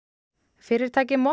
fyrirtækið molta